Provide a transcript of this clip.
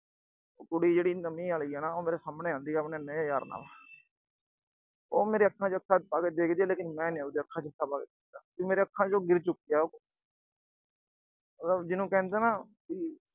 ਕੁੜੀ ਜਿਹੜੀ ਨਵੀਂ ਆਲੀ ਆ ਨਾ, ਉਹ ਮੇਰੇ ਸਾਹਮਣੇ ਆਉਂਦੀ ਆਪਣੇ ਨਵੇਂ ਯਾਰ ਨਾਲ। ਉਹ ਮੇਰੇ ਅੱਖਾਂ ਚ ਅੱਖਾਂ ਪਾ ਕੇ ਦੇਖਦੀ ਆ, ਲੇਕਿਨ ਮੈਂ ਨੀ ਉਹਦੇ ਅੱਖਾਂ ਚ ਅੱਖਾਂ ਪਾ ਕੇ ਦੇਖਦਾ, ਉਹ ਮੇਰੀਆਂ ਅੱਖਾਂ ਚ ਗਿਰ ਚੁੱਕੀ ਆ। ਜਿਹਨੂੰ ਕਹਿੰਦੇ ਆ ਨਾ ਵੀ